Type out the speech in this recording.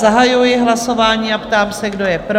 Zahajuji hlasování a ptám se, kdo je pro?